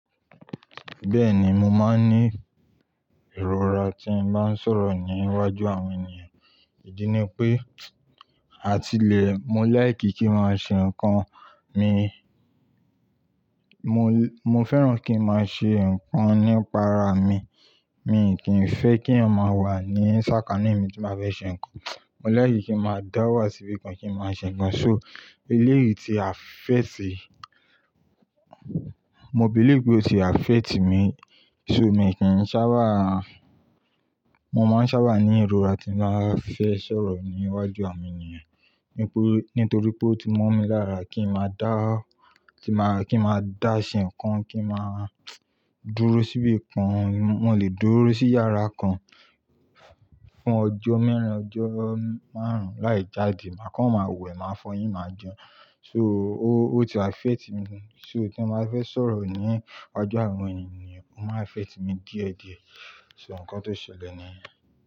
Bẹ́ẹ̀ni, mo máa ń ní ìrora tí n bá ń sọ̀rọ̀ ní iwájú àwọn ènìyàn, ìdí ni pé àtilẹ̀, mo lẹ́ láẹ̀kì kí n máa ṣe nǹkan mi, mo, mo fẹ́ràn kí n máa ṣe nǹkan nípa ara mi, mi kì í fẹ́ kéèyăn ma wà ní sákání mi tí máa bẹ ṣe nǹkan. Mo lẹ́láẹ̀kì kí n máa dá wà síbìkan kí n máa ṣe nǹkan. So eléyìí ti afẹ́ẹ̀tì, mo bílé pé ó ti afẹ́ẹ̀tì mi, so mi kì í sábàá, mo máa ń sábà ní ìrora tí n bá fẹ́ sọ̀rọ̀ ní iwájú àwọn ènìyàn, nítorí pé ó ti mọ́ mi lára kí n máa dá, kí n máa, kí n máa dá ṣe nǹkan, kí n máa dúró síbìkan. Mo lè dúró sí yàrá kan fún ọjọ́ mẹ́rin, ọjọ́ márùn-ún láì jáde, màá kán máa wẹ̀, máa fọyín, máa jẹun. So ó, ó ti afẹ́ẹ̀tì mi, so tí n bá fẹ́ sọ̀rọ̀ ní iwájú àwọn ènìyàn ó máa ń afẹ́ẹ̀tì mi díẹ̀ díẹ̀, so nǹkan tó ṣẹlẹ̀ niyẹn.